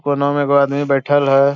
कोना में एगो आदमी बैठल है।